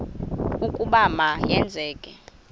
ukuba ma yenzeke